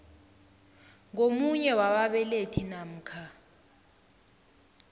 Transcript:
ngomunye wababelethi namkha